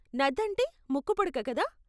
నథ్ అంటే ముక్కుపుడక, కదా?